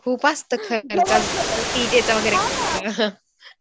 खूप असत खर्च डीजेचं वगैरे खर्च